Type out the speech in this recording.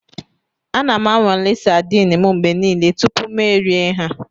Ana m anwale sadin m mgbe niile tupu m erie ha.